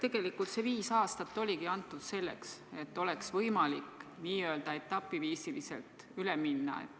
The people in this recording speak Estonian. Tegelikult see viis aastat oligi antud selleks, et oleks võimalik n-ö etapiviisil üle minna.